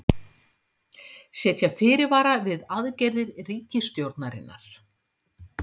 Setja fyrirvara við aðgerðir ríkisstjórnarinnar